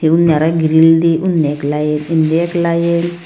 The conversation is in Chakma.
undi arow endi lanedi undi ekline endi ekline.